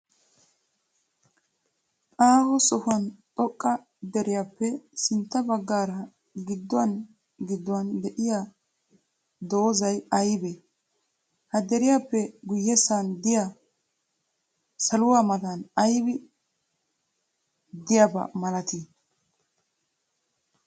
Aho sohuwan xoqqa deriyaappe sintta baggaara gidduwan gidduwan diya dozzay ayibee? Ha deriyaappe guyyessan diya saluwa matan ayibi ddiyaaba malatii?